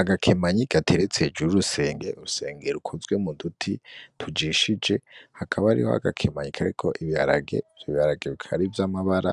Agakemanyi gateretse hejuru y'urusengero, urusengero rukoze mu duti tujishije hakaba hariho agakemanyi kariko ibiharage, ivyo biharage bikaba ari vy'amabara